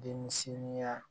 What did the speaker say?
Denmisɛnya